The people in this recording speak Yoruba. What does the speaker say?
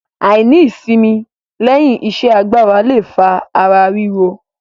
Àìní ìsimi lẹ́yìn iṣẹ́ agbára le fa ara ríro.